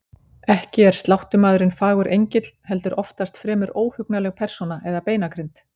Ekki er sláttumaðurinn fagur engill, heldur oftast fremur óhugnanleg persóna eða beinagrind.